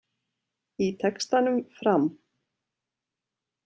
Í textanum Fram.